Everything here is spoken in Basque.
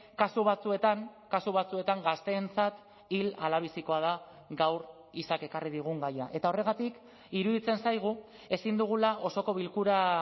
kasu batzuetan kasu batzuetan gazteentzat hil ala bizikoa da gaur isak ekarri digun gaia eta horregatik iruditzen zaigu ezin dugula osoko bilkura